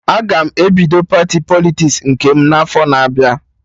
Aga m ebido pati Politiks nke m n'afọ na-abịa